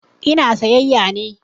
Ina sayayya ne.